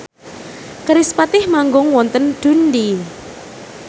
kerispatih manggung wonten Dundee